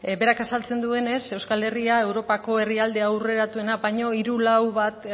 berak azaltzen duenez euskal herriak europako herrialde aurreratuena baino hiru lau bat